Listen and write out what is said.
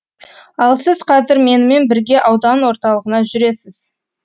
ал сіз қазір менімен бірге аудан орталығына жүресіз